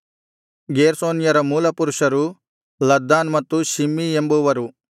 ಗೇರ್ಷೋನ್ಯರ ಮೂಲಪುರುಷರು ಲದ್ದಾನ್ ಮತ್ತು ಶಿಮ್ಮೀ ಎಂಬುವರು